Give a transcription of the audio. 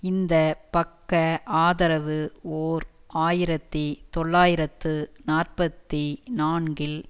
இந்த பக்க ஆதரவு ஓர் ஆயிரத்தி தொள்ளாயிரத்து நாற்பத்தி நான்கில்